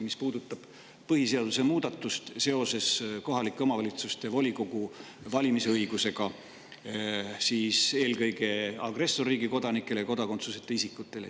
See puudutab põhiseaduse muudatust seoses kohalike omavalitsuste volikogude valimise õigusega eelkõige agressorriigi kodanike ja kodakondsuseta isikute puhul.